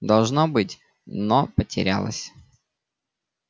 должна быть но ты потерялась